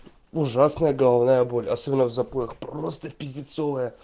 ужасная головная боль особенно в запоях просто пиздецовая